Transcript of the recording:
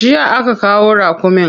Jiya aka kawo raƙumin.